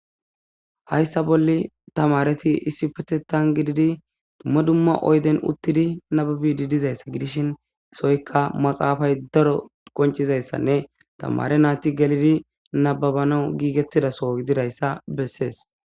hayssa bolle tamareti issi petetan gididi dumma dumma oyden uttidi nababidi dizayssa gidishin isoykka maxaafay daro qoncizayssanne tamare naati gelidi nababano giigettidaso gididayssa bessees